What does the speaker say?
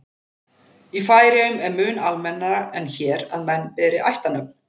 Í Færeyjum er mun almennara en hér að menn beri ættarnöfn.